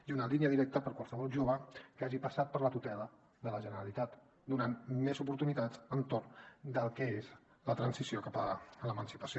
i una línia directa per a qualsevol jove que hagi passat per la tutela de la generalitat donant més oportunitats entorn del que és la transició cap a l’emancipació